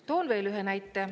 Toon veel ühe näite.